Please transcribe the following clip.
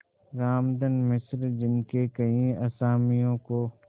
रामधन मिश्र जिनके कई असामियों को